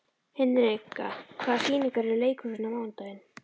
Hinrika, hvaða sýningar eru í leikhúsinu á mánudaginn?